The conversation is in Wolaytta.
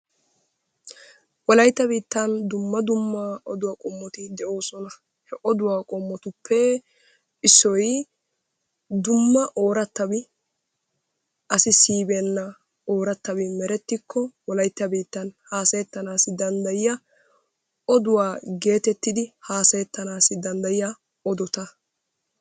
Wolaytta biittan dumma dumma odduwa qomotti deoossona. He oduwa qomottuppe issoy dumma duumma ooratabi asi siyibeenabay oorattabi merettikko wolaytta biittsn hasayettanaasi dandayeeyiya oduwa geettetidi haasayetannaasi dandayiya odota.